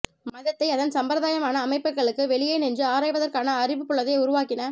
மதத்தை அதன் சம்பிரதாயமான அமைப்புகளுக்கு வெளியே நின்று ஆராய்வதற்கான அறிவுப்புலத்தை உருவாக்கின